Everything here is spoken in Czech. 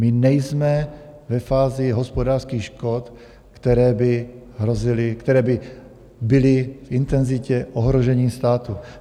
My nejsme ve fázi hospodářských škod, které by hrozily, které by byly v intenzitě ohrožení státu.